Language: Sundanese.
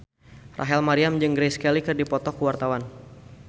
Rachel Maryam jeung Grace Kelly keur dipoto ku wartawan